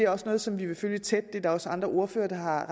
også noget som vi vil følge tæt det er der også andre ordførere der har